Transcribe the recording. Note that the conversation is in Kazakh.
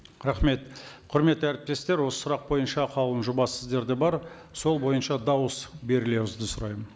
рахмет құрметті әріптестер осы сұрақ бойынша қаулының жобасы сіздерде бар сол бойынша дауыс берулеріңізді сұраймын